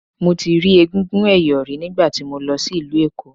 Mo ti rí egúngún ẹ̀yọ̀ rí nígbà tí mo lọ sí ìlú Èkó.